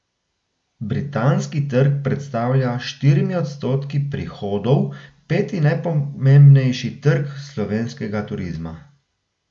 Britanski trg predstavlja s štirimi odstotki prihodov peti najpomembnejši trg slovenskega turizma.